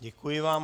Děkuji vám.